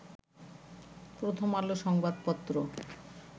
প্রথম আলো সংবাদ পত্র